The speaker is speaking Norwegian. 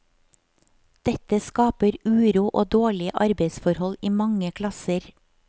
Dette skaper uro og dårlige arbeidsforhold i mange klasser.